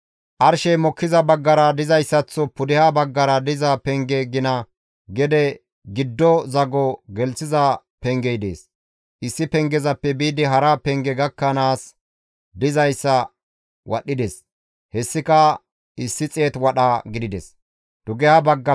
Arshey mokkiza baggara dizayssaththo pudeha baggara diza penge gina gede giddo zago gelththiza pengey dees; issi pengezappe biidi hara penge gakkanaas dizayssa wadhdhides; hessika 100 wadha gidides.